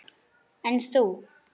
LÁRUS: En þú?